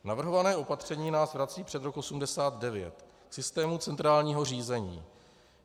Navrhované opatření nás vrací před rok 1989 k systému centrálního řízení.